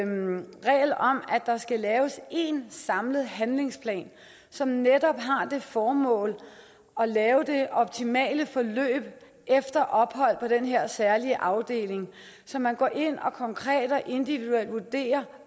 der skal laves én samlet handlingsplan som netop har det formål at lave det optimale forløb efter ophold på den her særlige afdeling så man går ind konkret og individuelt vurderer